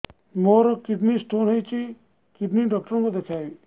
ମୋର kidney stone ହେଇଛି kidney doctor କୁ ଦେଖାଇବି